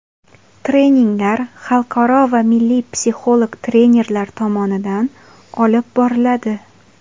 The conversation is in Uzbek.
Treninglar xalqaro va milliy psixolog trenerlar tomonidan olib boriladi.